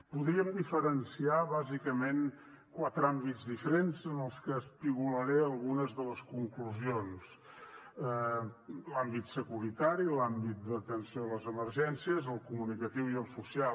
podríem diferenciar bàsicament quatre àmbits diferents en els que espigolaré algunes de les conclusions l’àmbit securitari l’àmbit d’atenció a les emergències el comunicatiu i el social